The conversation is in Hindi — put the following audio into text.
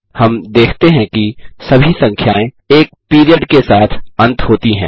हम देखते हैं कि सभी संख्याएँ एक पीरियड के साथ अंत होती हैं